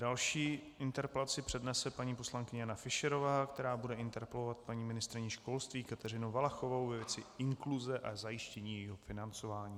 Další interpelaci přednese paní poslankyně Jana Fischerová, která bude interpelovat paní ministryni školství Kateřinu Valachovou ve věci inkluze a zajištění jejího financování.